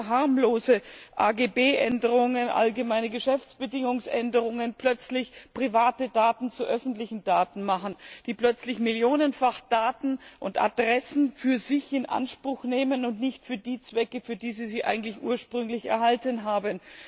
durch scheinbar harmlose Änderungen der Allgemeinen Geschäftsbedingungen plötzlich private Daten zu öffentlichen Daten machen und plötzlich millionenfach Daten und Adressen für sich in Anspruch nehmen und nicht für die Zwecke, für die sie sie eigentlich ursprünglich erhalten haben.